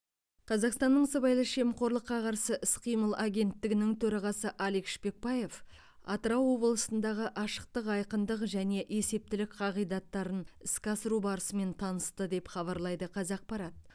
қазақстанның сыбайлас жемқорлыққа қарсы іс қимыл агенттігінің төрағасы алик шпекбаев атырау облысындағы ашықтық айқындық және есептілік қағидаттарын іске асыру барысымен танысты деп хабарлайды қазақпарат